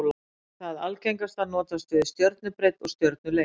Það algengasta notast við stjörnubreidd og stjörnulengd.